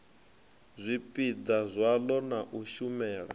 zwipiḓa zwaḽo na u shumela